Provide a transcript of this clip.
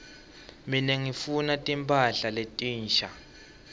mine ngifuna timphahla letinsha